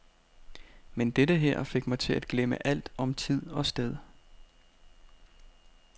Men dette her fik mig til at glemme alt om tid og sted.